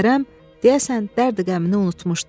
Kərəm deyəsən dərdü-qəmini unutmuşdu.